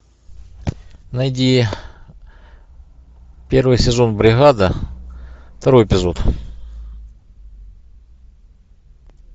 найди первый сезон бригада второй эпизод